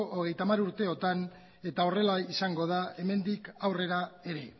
hogeita hamar urteotan eta horrela izango da hemendik aurrera ere